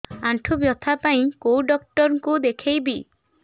ଆଣ୍ଠୁ ବ୍ୟଥା ପାଇଁ କୋଉ ଡକ୍ଟର ଙ୍କୁ ଦେଖେଇବି